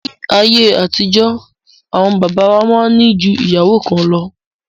Ní ayé àtijọ́, àwọn bàbá wa máa ń ní ju ìyàwó kan lọ